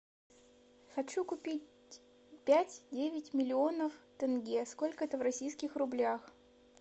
хочу купить пять девять миллионов тенге сколько это в российских рублях